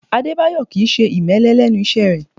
Adébáyọ̀ Kì í ṣe ìmẹ́lẹ́ lẹ́nu iṣẹ́ rẹ̀